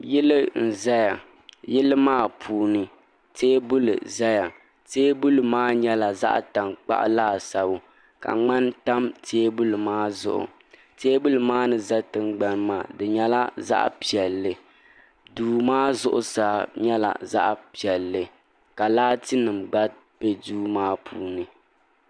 Yili n zaya yili maa puuni teebuli zaya teebuli maa nyɛla zaɣa tankpaɣu laasabu ka ŋmani tam teebuli maa zuɣu teebuli maa ni za tingbani maa di nyɛla zaɣa piɛlli duu maa zuɣusaa nyɛla zaɣa piɛlli ka laatinima gba be duu maa puuni.